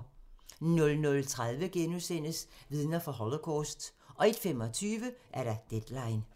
00:30: Vidner fra Holocaust * 01:25: Deadline